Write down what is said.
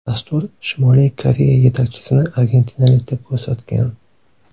Dastur Shimoliy Koreya yetakchisini argentinalik deb ko‘rsatgan.